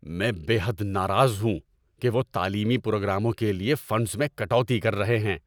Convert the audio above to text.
میں بے حد ناراض ہوں کہ وہ تعلیمی پروگراموں کے لیے فنڈز میں کٹوتی کر رہے ہیں۔